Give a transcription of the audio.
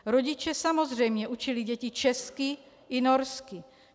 Rodiče samozřejmě učili děti česky i norsky.